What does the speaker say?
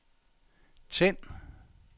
tænd